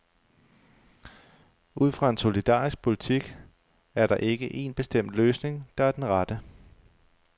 Ud fra en solidarisk politik er der ikke en bestemt løsning, der er den rette.